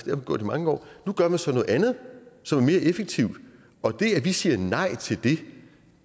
man gjort i mange år nu gør man så noget andet som er mere effektivt og det at vi siger nej til det